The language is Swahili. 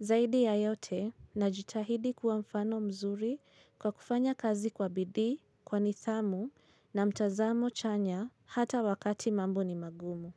Zaidi ya yote na jitahidi kuwa mfano mzuri kwa kufanya kazi kwa bidii, kwa nidhamu na mtazamo chanya hata wakati mambo ni magumu.